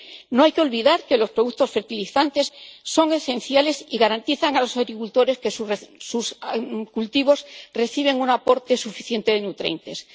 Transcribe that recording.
No hay que olvidar que los productos fertilizantes son esenciales y garantizan a los agricultores que sus cultivos reciben un aporte suficiente de nutrientes.